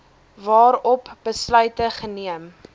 waarop besluite geneem